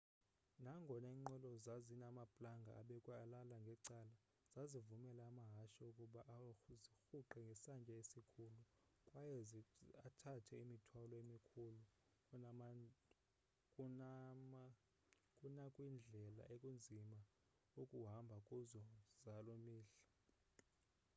nangona iinqwelo zazinamaplanga abekwe alala ngecala zazivumela amahashe ukuba azirhuqe ngesantya esikhulu kwaye athathe imithwalo emikhulu kunakwindlela ekunzima ukuhamba kuzo zaloo mihla